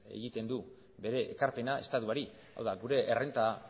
egiten du bere ekarpena estatuari hau da gure errenta